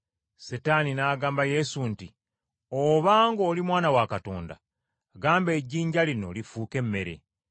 Setaani n’agamba Yesu nti, “Obanga oli, Mwana wa Katonda, gamba ejjinja lino lifuuke emmere.”